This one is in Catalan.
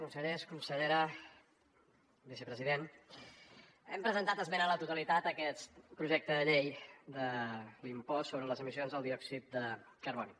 consellers consellera vicepresident hem presentat esmena a la totalitat a aquest projecte de llei de l’impost sobre les emissions del diòxid de carboni